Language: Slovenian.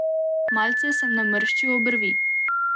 Malce sem namrščil obrvi.